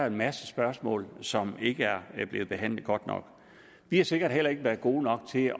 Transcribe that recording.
en masse spørgsmål som ikke er blevet behandlet godt nok vi har sikkert heller ikke været gode nok til